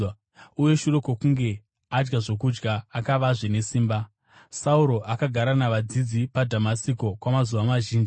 uye shure kwokunge adya zvokudya, akavazve nesimba. Sauro muDhamasiko nomuJerusarema Sauro akagara navadzidzi paDhamasiko kwamazuva mazhinji.